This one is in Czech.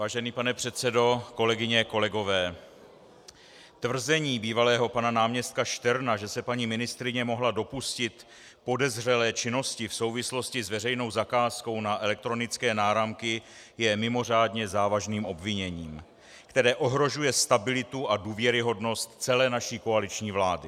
Vážený pane předsedo, kolegyně, kolegové, tvrzení bývalého pana náměstka Šterna, že se paní ministryně mohla dopustit podezřelé činnosti v souvislosti s veřejnou zakázkou na elektronické náramky, je mimořádně závažným obviněním, které ohrožuje stabilitu a důvěryhodnost celé naší koaliční vlády.